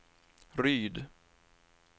Ryd